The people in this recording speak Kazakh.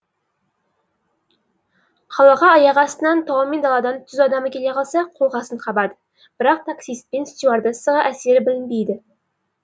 қалаға аяқ астынан тау мен даладан түз адамы келе қалса қолқасын қабады бірақ таксист пен стюардессаға әсері білінбейді